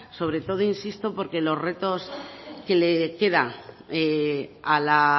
sobre todo insisto porque los retos que le queda a la